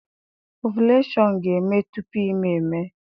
Ovuleshọn ga-eme tupu ime ime